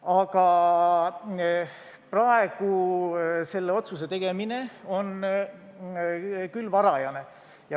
Aga praegu seda otsust teha on küll vara.